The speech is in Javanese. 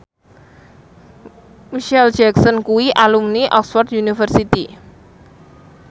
Micheal Jackson kuwi alumni Oxford university